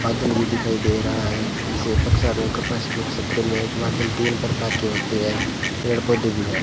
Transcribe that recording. बादल भी दिखाई दे रहा है बादल तीन प्रकार की होते हैं पेड़ पौधे भी है।